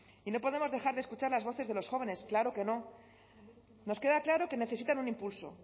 y no podemos dejar de escuchar las voces de los jóvenes claro que no nos queda claro que necesitan un impulso